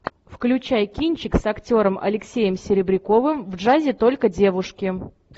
включай кинчик с актером алексеем серебряковым в джазе только девушки